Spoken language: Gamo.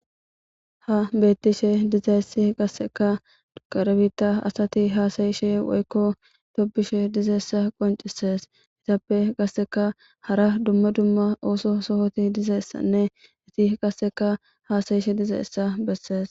Ha beeththishee dizayssi qassikka kare biiththaa asthi haasayishee woykko tobbishee dizayssa qonccees; ethappe qassika hara dumma dumma ooso sohothi dizayssanne ethi qassikka haasayishe dizayssa bessees.